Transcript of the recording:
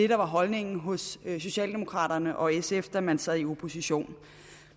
var holdningen hos socialdemokraterne og sf da man sad i opposition